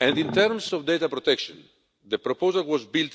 In terms of data protection, the proposal was built